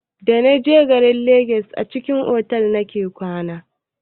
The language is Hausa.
Da naje garin legas a cikin otal nake kwana.